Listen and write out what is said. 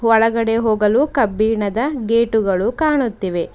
ಒಳಗಡೆ ಹೋಗಲು ಕಬ್ಬಿಣದ ಗೇಟ್ ಗಳು ಕಾಣುತ್ತಿವೆ.